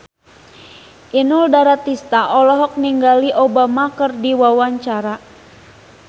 Inul Daratista olohok ningali Obama keur diwawancara